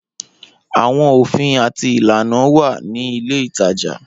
Awọn ofin ati ilana wa ni ile itaja.